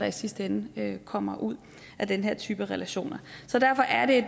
i sidste ende kommer ud af den her type relationer derfor er det